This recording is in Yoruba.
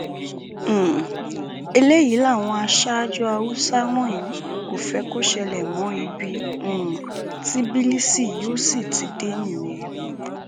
um eléyìí làwọn aṣáájú haúsá wọnyí kò fẹ kó ṣẹlẹ mọ ibi um tí bílíìsì yóò sì ti dé nìyẹn